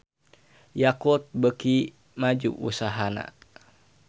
Yakult beuki maju usahana